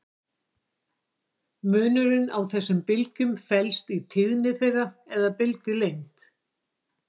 Munurinn á þessum bylgjum felst í tíðni þeirra eða bylgjulengd.